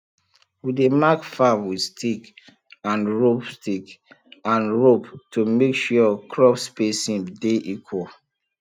we dey mark farm with stick and rope stick and rope to make sure crop spacing de equal